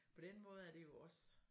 På den måde er det jo også